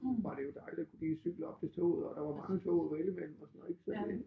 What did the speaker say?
Var det jo dejligt lige at cykle op til toget og der var mange tog at vælge mellem og sådan ik så det